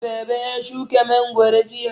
Baba ya shuka mangwaro jiya.